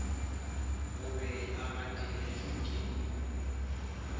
o be a gateletšwe ke